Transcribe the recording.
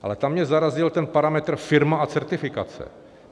Ale tam mě zarazil ten parametr firma a certifikace.